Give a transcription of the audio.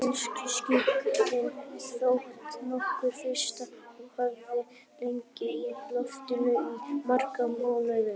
Félagaskiptin þóttu nokkuð fyrirsjáanleg og höfðu legið í loftinu í marga mánuði.